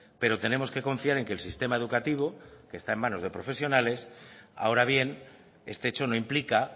pero tenemos que confiar en que el sistema educativo que está en manos de profesionales ahora bien este hecho no implica